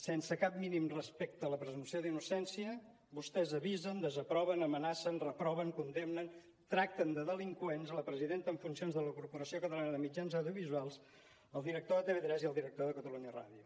sense cap mínim respecte a la presumpció d’innocència vostès avisen desaproven amenacen reproven condemnen tracten de delinqüents la presidenta en funcions de la corporació catalana de mitjans audiovisuals el director de tv3 i el director de catalunya ràdio